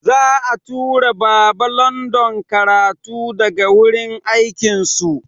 Za'a tura Baba London karatu daga wurin akin su.